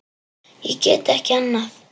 Ég get ekki annað.